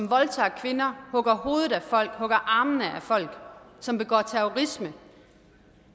voldtager kvinder hugger hovedet af folk hugger armene af folk som begår terrorisme